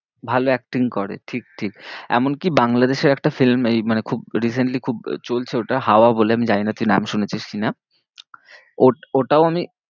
ভালো acting করে ঠিক ঠিক, এমনকি বাংলাদেশের একটা film এই মানে খুব recently খুব চলছে ওটা, হাওয়া বলে আমি জানি না তুই নাম শুনেছিস কি না? ও ওটাও আমি